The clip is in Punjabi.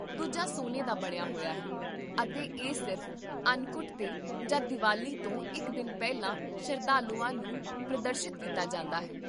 ਦੂਜਾ ਸੋਨੇ ਦਾ ਬਣਿਆ ਹੋਇਆ ਹੈ ਅਤੇ ਇਹ ਸਿਰਫ਼ ਅੰਨਕੁਟ 'ਤੇ ਜਾਂ ਦੀਵਾਲੀ ਤੋਂ ਇਕ ਦਿਨ ਪਹਿਲਾਂ ਸ਼ਰਧਾਲੂਆਂ ਨੂੰ ਪ੍ਰਦਰਸ਼ਿਤ ਕੀਤਾ ਜਾਂਦਾ ਹੈ